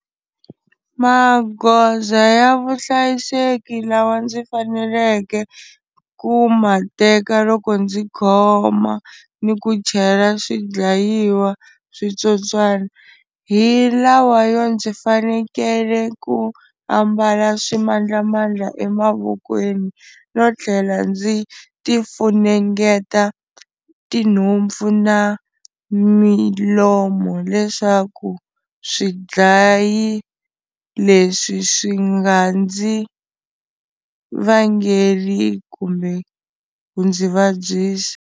Magoza ya vuhlayiseki lawa ndzi faneleke ku ma teka loko ndzi khoma ni ku chela swidlayiwa switsotswana, hi lawa yo ndzi fanekele ku ambala swimandlamandla emavokweni no tlhela ndzi ti funengeta tinhompfu na milomo leswaku swidlayi leswi swi nga ndzi vangeli kumbe ku ndzi vabyisa.